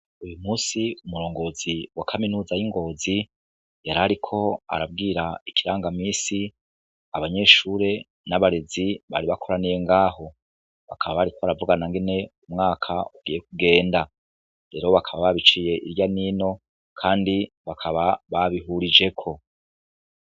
Uyu musi, umurongozi wa kaminuza y'Ngozi ,yarariko arabwira ikiranga misi abanyeshure n'abarezi bari bakoraniye ngaho, bakaba bariko baravugana ingene umwaka ugiye kugenda. Rero bakaba babiciye irya n'ino kandi babihirijeko.